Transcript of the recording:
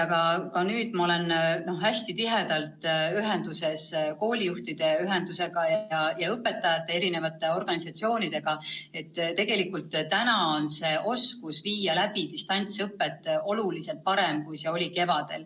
Aga nüüd ma olen hästi tihedalt ühenduses koolijuhtide ühendusega ja õpetajate erinevate organisatsioonidega ning tean, et oskus distantsõpet läbi viia on oluliselt parem kui kevadel.